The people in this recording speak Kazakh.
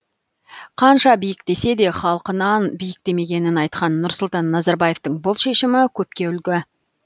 қанша биіктесе де халқынан биіктемегенін айтқан нұрсұлтан назарбаевтың бұл шешімі көпке үлгі